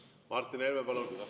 Martin Helme, palun!